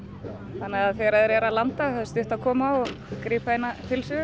þannig að þegar þeir eru að landa þá er stutt að koma og grípa eina pylsu